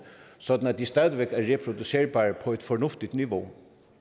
sådan at de stadig væk er reproducerbare på et fornuftigt niveau